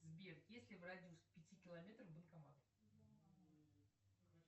сбер есть ли в радиусе пяти километров банкомат